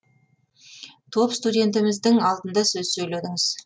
топ студентеріміздің алдында сөз сөйледіңіз